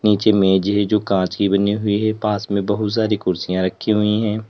नीचे मेज है जो कांच की बनी हुई है पास में बहुत सारी कुर्सियां रखी हुई है।